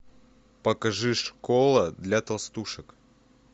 покажи школа для толстушек